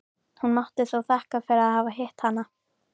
Hún mátti þó þakka fyrir að hafa hitt hana.